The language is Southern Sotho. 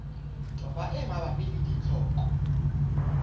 toba e mabapi le ditlhoko